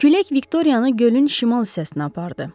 Külək Viktoriyanı gölün şimal hissəsinə apardı.